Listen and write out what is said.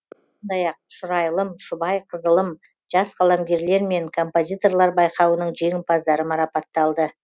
сондай ақ шұрайлым шұбай қызылым жас қаламгерлер мен композиторлар байқауының жеңімпаздары марапатталды